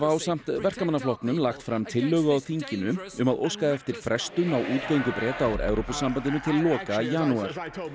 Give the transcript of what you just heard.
ásamt Verkamannaflokknum leggja fram tillögu á þinginu um að óska eftir frestun á útgöngu Breta úr Evrópusambandinu til loka janúar